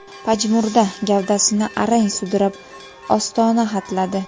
pajmurda gavdasini arang sudrab ostona hatladi.